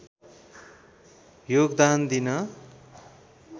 योगदान दिन